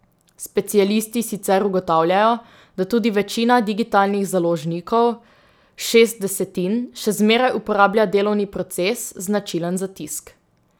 Specialisti sicer ugotavljajo, da tudi večina digitalnih založnikov, šest desetin, še zmeraj uporablja delovni proces, značilen za tisk.